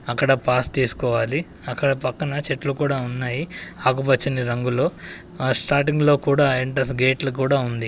అక్కడ పాస్ తీసుకోవాలి. అక్కడ పక్కన చెట్లు కూడా ఉన్నాయి ఆకుపచ్చని రంగులో. ఆ స్టార్టింగ్ లో కూడా ఎంట్రెన్స్ గేట్ల కూడా ఉంది.